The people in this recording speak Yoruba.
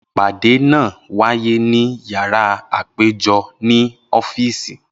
Ipade naa waye ni yárà apejọ ni ọ́fíìsì.